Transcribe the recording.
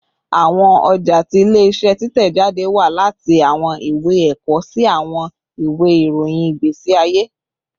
Awọn ọja ti ile-iṣẹ titẹjade wa lati awọn iwe ẹkọ si awọn iwe irohin igbesi aye